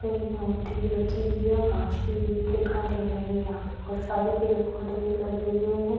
वहाँ पे एक मूर्ति भी रखी हुई है और घास भी उगी हुई दिखाई दे रही है। यहाँ पे बहुत सारे पेड़-पौधे भी लगे हुए हैं।